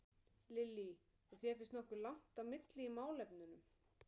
Lillý: Og þér finnst nokkuð langt á milli í málefnunum?